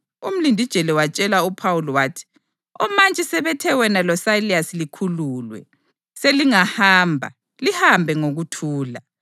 Umlindijele watshela uPhawuli wathi, “Omantshi sebethe wena loSayilasi likhululwe. Selingahamba. Lihambe ngokuthula.”